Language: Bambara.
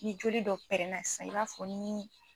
Ni joli dɔ pɛrɛnna sa i b'a fɔ nin.